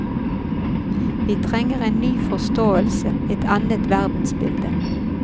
Vi trenger en ny forståelse, et annet verdensbilde.